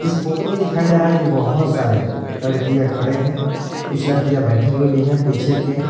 इस फोटो में दिखाई जा रहा है कि बहुत सारे लड़कियां खड़े हैं कुछ लड़कियां बैठे हुए भी हैं पीछे के --